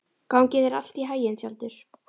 Gangi þér allt í haginn, Tjaldur.